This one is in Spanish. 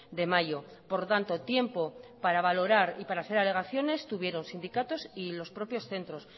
de mayo por lo tanto tiempo para valorar y para hacer alegaciones tuvieron sindicatos y los propios centros